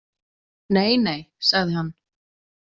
Nei nei, sagði hann.